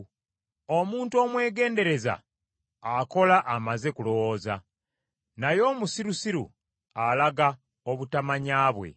Omuntu omwegendereza akola amaze kulowooza, naye omusirusiru alaga obutamanya bwe.